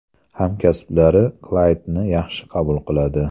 Hamkasblari Klaydni yaxshi qabul qiladi.